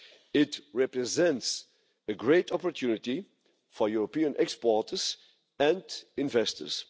It represents a great opportunity for European exporters and investors.